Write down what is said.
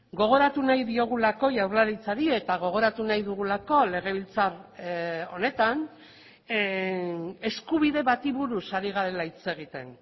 gogoratu nahi diogulako jaurlaritzari eta gogoratu nahi dugulako legebiltzar honetan eskubide bati buruz ari garela hitz egiten